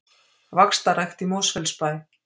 Vaxtarrækt í Mosfellsbæ